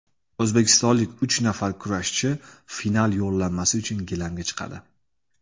O‘zbekistonlik uch nafar kurashchi final yo‘llanmasi uchun gilamga chiqadi.